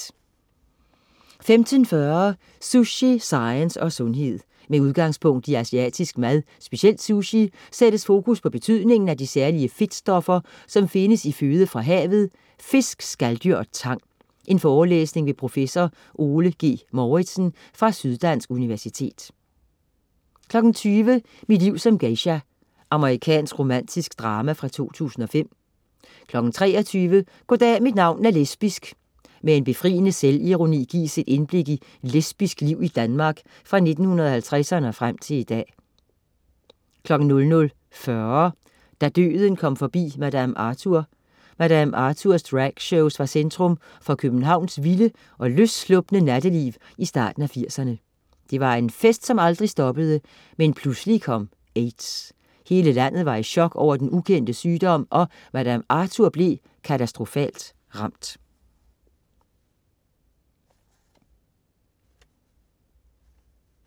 15.40 Sushi, science og sundhed. Med udgangspunkt i asiatisk mad, specielt sushi, sættes fokus på betydningen af de særlige fedtstoffer, som findes i føde fra havet: fisk, skaldyr og tang. Forelæsning ved prof. Ole G. Mouritsen fra Sydddansk Universitet 20.00 Mit liv som geisha. Amerikansk romantisk drama fra 2005 23.00 Goddag mit navn er lesbisk. Med en befriende selvironi gives et indblik i lesbisk liv i Danmark fra 1950'erne og frem til i dag 00.40 Da døden kom forbi Madame Arthur. Madame Arthurs dragshows var centrum for Københavns vilde og løsslupne natteliv i starten af 80'erne. Det var en fest, som aldrig stoppede, men pludselig kom AIDS. Hele landet var i chok over den ukendte sygdom og Madame Arthur blev katastrofalt ramt